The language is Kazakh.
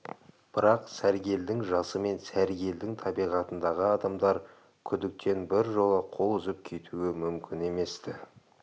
бірақ сәргелдің жасы мен сәргелдің табиғатындағы адамдар күдіктен біржола қол үзіп кетуі мүмкін емес-ті